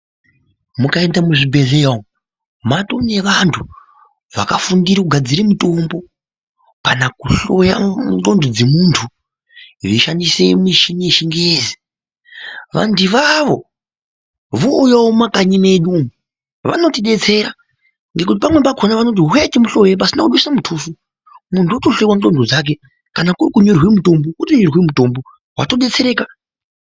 Mukaenda muzvibhedleya umo, maatone vantu vakafundire kugadzira mutombo kana kuhloya ngxondo dzemuntu zviyishandise mishini yechingezi, vantu ivavo vowuyawo mumakanyi medu vanotidetsera, nekuti pamwe pakoni vanoti huyayi timuhlore pasina kubisa mutuso, munhu otohlowa ngxondo dzake kana kurikunyorerwe mutombo otonyorerwa mutombo watodetsereka.